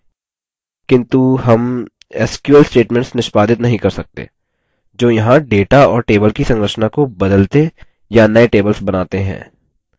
किन्तु हम sql statements निष्पादित नहीं कर सकते जो यहाँ data और table की संरचना को बदलते या नये tables बनाते हैं